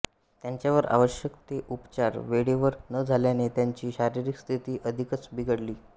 त्यांच्यावर आवश्यक ते उपचार वेळेवर न झाल्याने त्यांची शारिरीक स्थिती अधिकच बिघडली